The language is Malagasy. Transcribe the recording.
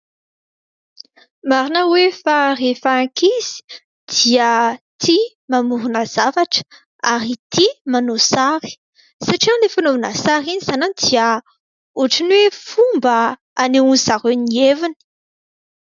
Marina hoe fa rehefa ankizy dia tia mamorona zavatra ary tia manao sary satria iny fanaovana sary iny sanan dia ohatry ny hoe fomba hanehoan'izy ireo ny heviny.